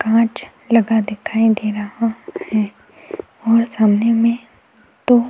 काँच लगा दिखाई दे रहा है और सामने में तो --